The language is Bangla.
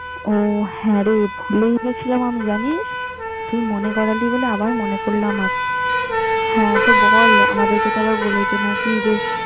ও হ্যাঁ রে, ভুলেই গেছিলাম আমি জানিস! তুই মনে করালি বলে আবার মনে পড়ল আমার। হ্যাঁ তো বল আমাদেরকে তো বলেছে নাকি যে।